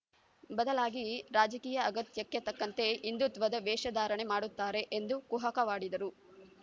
ಬದಲಾಗಿ ರಾಜಕೀಯ ಅಗತ್ಯಕ್ಕೆ ತಕ್ಕಂತೆ ಹಿಂದುತ್ವದ ವೇಷ ಧಾರಣೆ ಮಾಡುತ್ತಾರೆ ಎಂದು ಕುಹಕವಾಡಿದರು